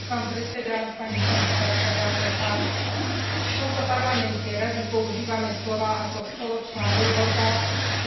V tomto Parlamente radi používame slová ako spoločná Európa, európska jednota alebo Európa pre občanov.